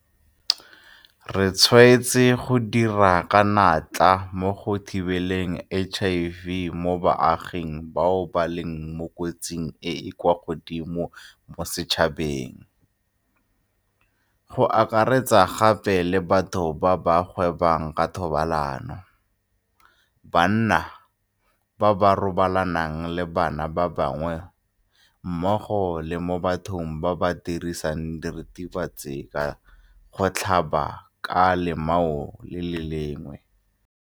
Re tshwaetse go dira ka natla mo go thibeleng HIV mo baaging bao ba leng mo kotsing e e kwa godimo mo setšhabeng, go akaretsa gape le batho ba ba gwebang ka thobalano, banna [, ba ba robalanang le banna ba bangwe, mmogo le mo bathong ba ba dirisang diritibatsi ka gotlhabana ka lemao le le lengwe.